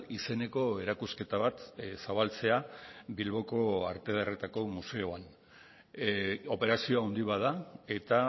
izeneko erakusketa bat zabaltzea bilboko arte ederretako museoan operazio handi bat da eta